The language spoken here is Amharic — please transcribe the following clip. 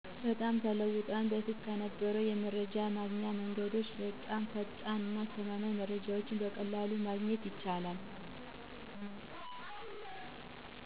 በጣም ተለውጧል። በፊት ከነበረው የመረጃ ማግኛ መንገዶች በጣም ፈጣንና አስተማማኝ መረጃወችን በቀላሉ ማግኘት ይቻላል።